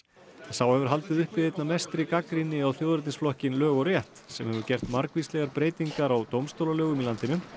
sá hefur haldið uppi einna mestri gagnrýni á lög og rétt sem hefur gert margvíslegar breytingar á dómstólalögum í landinu